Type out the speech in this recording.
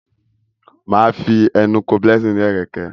Má Fí enú kò Blessing ní Ẹ̀rẹ̀kẹ́.